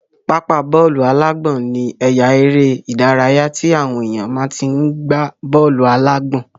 Pápá bọ́ọ̀lù-alágbọ̀n ní àye eré ìdárayá tí àwọn èèyàn máa tí n gbá bọ́ọ̀lù-alágbọ̀n